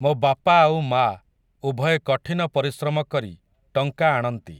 ମୋ ବାପା ଆଉ ମାଆ, ଉଭୟେ କଠିନ ପରିଶ୍ରମ କରି, ଟଙ୍କା ଆଣନ୍ତି ।